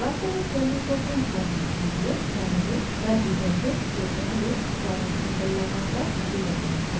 वास्तविक वैल्यू को प्रिंट करने के लिए वेरिएबल कर्ली ब्रैकेट से पहले $ सिंबल लगाकर डीरेफरेंस किया जाता है